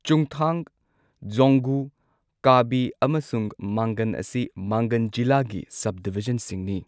ꯆꯨꯡꯊꯥꯡ, ꯖꯣꯡꯒꯨ, ꯀꯥꯕꯤ, ꯑꯃꯁꯨꯡ ꯃꯥꯡꯒꯟ ꯑꯁꯤ ꯃꯥꯡꯒꯟ ꯖꯤꯂꯥꯒꯤ ꯁꯕꯗꯤꯚꯤꯖꯟꯁꯤꯡꯅꯤ꯫